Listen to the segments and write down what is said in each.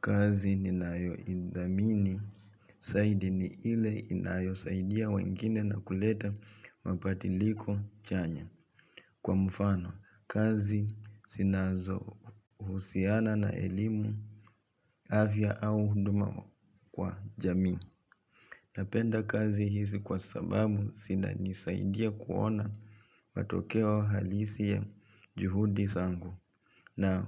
Kazi ninayoidhamini, zaidi ni ile inayosaidia wengine na kuleta mabadiliko chanya. Kwa mfano, kazi zinazo husiana na elimu, afya au huduma kwa jamii. Napenda kazi hizi kwa sababu, zinanisaidia kuona matokeo halisi ya juhudi zangu. Na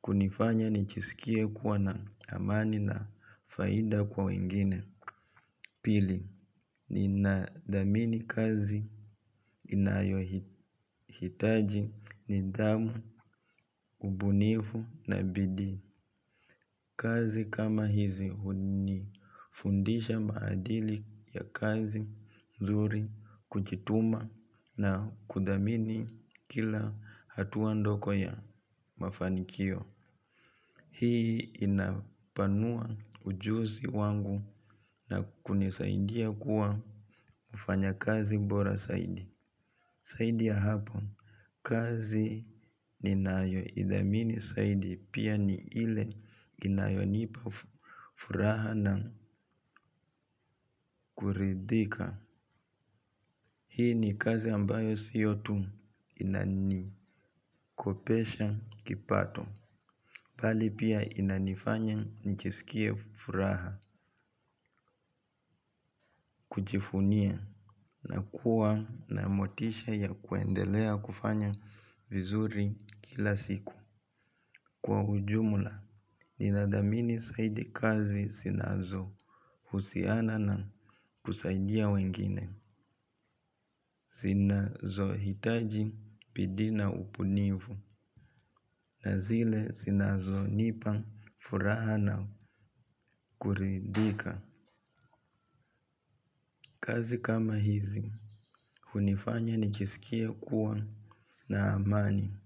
kunifanya nijiskie kuwa na amani na faida kwa wengine. Pili, ninadhamini kazi inayohitaji nidhamu, ubunifu na bidii. Kazi kama hizi unifundisha maadili ya kazi nzuri, kujituma na kudhamini kila hatua ndogo ya mafanikio. Hii, inapanua ujuzi wangu na kunisaidia kuwa mfanyakazi bora zaidi. Zaidi ya hapo, kazi ninayoidhamini zaidi pia ni ile inayonipa furaha na kuridhika. Hii ni kazi ambayo sio tu inanikopesha kipato mbali pia inanifanya nijiskie furaha kujivunia na kuwa na motisha ya kuendelea kufanya vizuri kila siku. Kwa ujumla, nina dhamini zaidi kazi zinazo husiana na kusaidia wengine. Zinazohitaji bidii na ubunifu na zile zinazonipa furaha na kuridhika. Kazi kama hizi, hunifanya nijiskie kuwa na amani,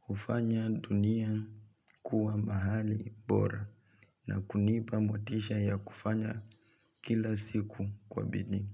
hufanya dunia kuwa mahali bora na kunipa motisha ya kufanya kila siku kwa bidii.